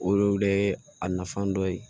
O le a nafan dɔ ye